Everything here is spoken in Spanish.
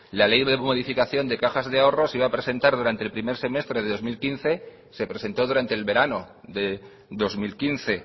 la ley de modificación de cajas de ahorro se iba a presentar durante el primer semestre de dos mil quince se presentó durante el verano de dos mil quince